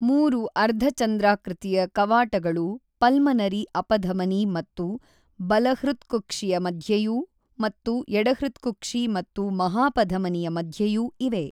ಮೂರು ಅರ್ಧಚಂದ್ರಾಕೃತಿಯ ಕವಾಟಗಳು ಪಲ್ಮನರಿ ಅಪಧಮನಿ ಮತ್ತು ಬಲಹೃತ್ಕುಕ್ಷಿಯ ಮಧ್ಯೆಯೂ ಮತ್ತು ಎಡಹೃತ್ಕುಕ್ಷಿ ಮತ್ತು ಮಹಾಪಧಮನಿಯ ಮಧ್ಯೆಯೂ ಇವೆ.